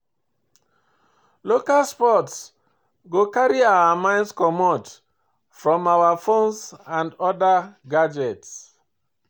local sports go carry our mind comot from our phones and oda gadgets